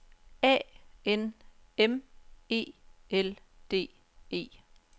A N M E L D E